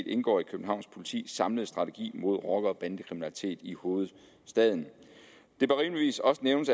indgår i københavns politis samlede strategi mod rocker og bandekriminalitet i hovedstaden det bør rimeligvis også nævnes